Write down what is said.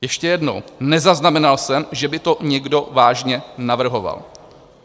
Ještě jednou: Nezaznamenal jsem, že by to někdo vážně navrhoval.